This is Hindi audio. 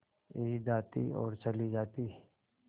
ईद आती और चली जाती